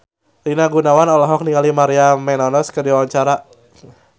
Rina Gunawan olohok ningali Maria Menounos keur diwawancara